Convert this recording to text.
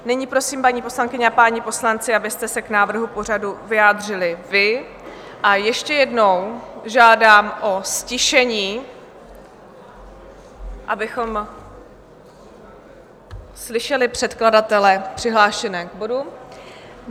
Nyní prosím, paní poslankyně a páni poslanci, abyste se k návrhu pořadu vyjádřili vy, a ještě jednou žádám o ztišení, abychom slyšeli předkladatele přihlášené k bodům.